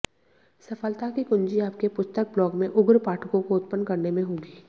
सफलता की कुंजी आपके पुस्तक ब्लॉग में उग्र पाठकों को उत्पन्न करने में होगी